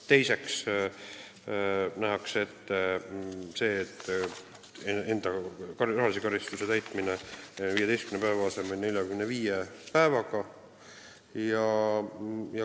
Teiseks nähakse ette, et rahaline karistus tuleb 15 päeva asemel täita 45 päevaga.